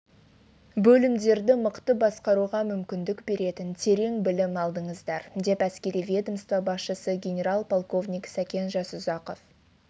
бөлімдерді мықты басқаруға мүмкіндік беретін терең білім алдыңыздар деп әскери ведомство басшысы генерал-полковник сәкен жасұзақов